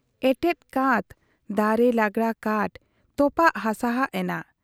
ᱮᱴᱮᱫ ᱠᱟᱸᱛ ,ᱫᱟᱨᱮ ᱞᱟᱜᱽᱲᱟ ᱠᱟᱸᱴ, ᱛᱚᱯᱟᱜ ᱦᱟᱥᱟᱦᱟᱜ ᱮᱱᱟ ᱾